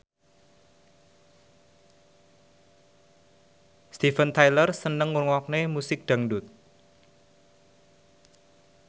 Steven Tyler seneng ngrungokne musik dangdut